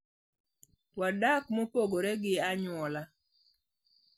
Wadak mopogore gi anyuola.